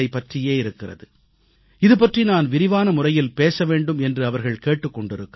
பற்றியே இருக்கிறது இதுபற்றி நான் விரிவான முறையில் பேச வேண்டும் என்று அவர்கள் கேட்டுக் கொண்டிருக்கிறார்கள்